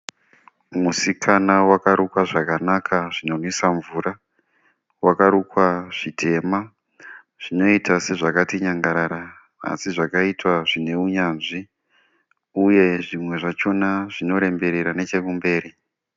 Musikana wakarukwa zvakanaka zvinonwisa mvura. Wakarukwa zvitema zvinoita sezvakati nyangarara asi zvakaitwa zvine unyanzvi uye zvimwe zvachona zvinoremberera nechekumberi.